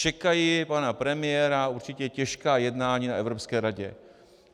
Čekají pana premiéra určitě těžká jednání na Evropské radě.